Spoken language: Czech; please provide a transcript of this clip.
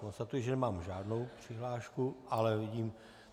Konstatuji, že nemám žádnou přihlášku, ale vidím...